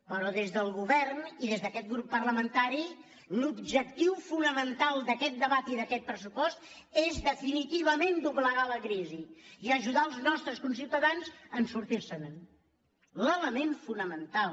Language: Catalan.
però des del govern i des d’a·quest grup parlamentari l’objectiu fonamental d’aquest debat i d’aquest pressupost és definitivament doblegar la crisi i ajudar els nostres conciutadans a sortir·se’n l’element fonamental